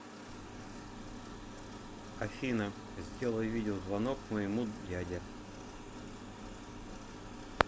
афина сделай видеозвонок моему дяде